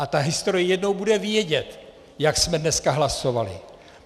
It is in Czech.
A ta historie jednou bude vědět, jak jsme dneska hlasovali.